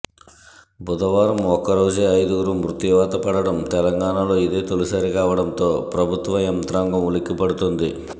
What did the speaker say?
బుదవారం ఒక్కరోజే ఐదుగురు మృత్యువాత పడడం తెలంగాణలో ఇదే తొలిసారి కావడంతో ప్రభుత్వ యంత్రాంగం ఉలిక్కిపడుతోంది